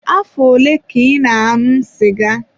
Afọ ole ka ị na-aṅụ sịga?